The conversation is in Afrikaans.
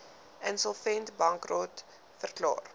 insolvent bankrot verklaar